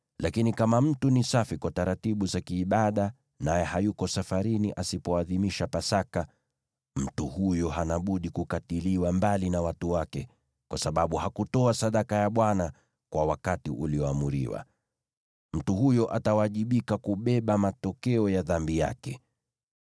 Lakini kama mtu ni safi kwa taratibu za kiibada naye hayuko safarini, asipoadhimisha Pasaka, mtu huyo hana budi kukatiliwa mbali na watu wake kwa sababu hakutoa sadaka ya Bwana kwa wakati ulioamriwa. Mtu huyo atawajibika kubeba matokeo ya dhambi yake.